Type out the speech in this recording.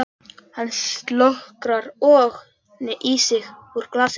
Hann slokrar í sig úr glasinu.